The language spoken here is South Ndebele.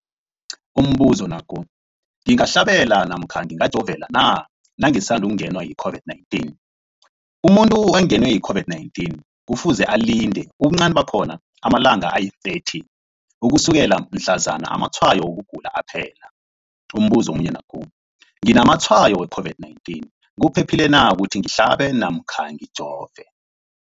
Umbuzo, ngingahlaba namkha ngingajova na nangisandu kungenwa yi-COVID-19? Umuntu ongenwe yi-COVID-19 kufuze alinde ubuncani bakhona ama-30 wama langa ukusukela mhlazana amatshayo wokugula aphela. Umbuzo, nginamatshayo we-COVID-19, kuphephile na ukuthi ngihlabe namkha ngijove?